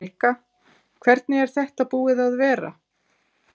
Helga: Hvernig er þetta búið að vera?